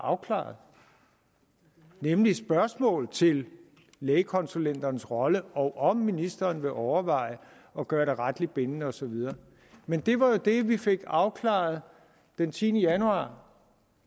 afklaret nemlig spørgsmål til lægekonsulenternes rolle og om ministeren vil overveje at gøre det retligt bindende og så videre men det var jo det vi fik afklaret den tiende januar